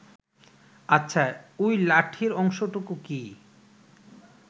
আচ্ছা ওই লাঠির অংশটুকু কি